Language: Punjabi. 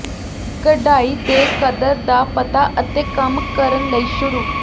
ਕਢਾਈ ਦੇ ਕਦਰ ਦਾ ਪਤਾ ਅਤੇ ਕੰਮ ਕਰਨ ਲਈ ਸ਼ੁਰੂ